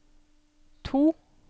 to